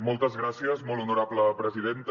moltes gràcies molt honorable presidenta